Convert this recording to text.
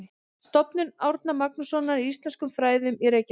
Stofnun Árna Magnússonar í íslenskum fræðum í Reykjavík.